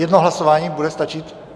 Jedno hlasování bude stačit?